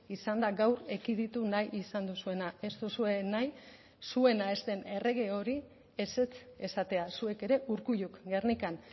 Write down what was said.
izan da gaur ekiditu nahi izan duzuena ez duzue nahi zuena ez den errege hori ezetz esatea zuek ere urkulluk gernikan